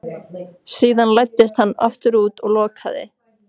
Síðan læddist hann aftur út og lokaði.